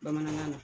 Bamanankan na